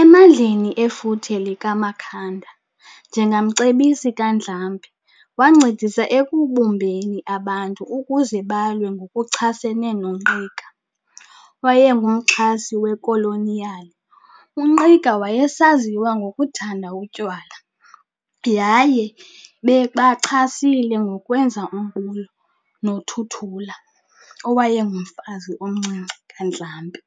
Emandleni efuthe likaMakhanda, njengamcebisi kaNdlambe, wancedisa ekubumbeni abantu ukuze balwe ngokuchasene noNgqika owayengumxhasi wekoloniyali. UNgqika wayesaziwa ngokuthanda utywala, yaye babemchasile ngokwenza umbulo noThuthula owayengumfazi omncinci kaNdlambe,